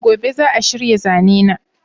gobe za'a shirya zanena